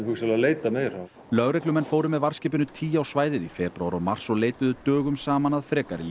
leitað meira lögreglumenn fóru með varðskipinu tý á svæðið í febrúar og mars og leituðu dögum saman að frekari